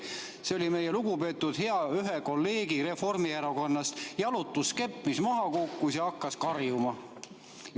See oli ühe meie lugupeetud hea Reformierakonna kolleegi jalutuskepp, mis maha kukkus ja hakkas karjuma.